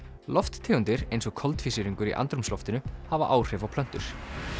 lofttegundir eins og koltvísýringur í andrúmsloftinu hafa áhrif á plöntur